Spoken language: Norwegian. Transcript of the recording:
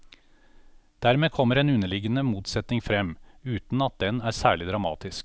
Dermed kommer en underliggende motsetning frem, uten at den er særlig dramatisk.